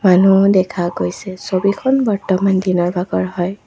মানুহো দেখা গৈছে ছবিখন বৰ্তমান দিনৰ ভাগৰ হয়।